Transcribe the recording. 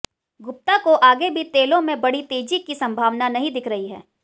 गुप्ता को आगे भी तेलों में बड़ी तेजी की संभावना नहीं दिख रही है